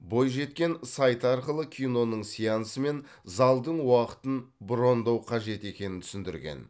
бойжеткен сайт арқылы киноның сеансы мен залдың уақытын брондау қажет екенін түсіндірген